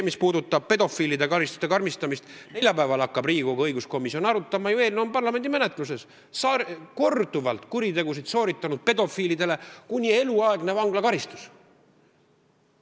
Mis puudutab pedofiilide karistuste karmistamist, siis neljapäeval hakkab Riigikogu õiguskomisjon arutama parlamendi menetlusse jõudnud eelnõu, mis näeb ette korduvalt kuritegusid sooritanud pedofiilidele kuni eluaegse vanglakaristuse.